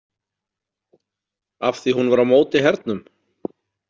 Af því hún var á móti hernum?